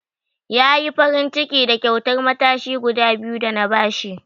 Ya yi farinciki da kyautar matashi guda biyu da na ba shi.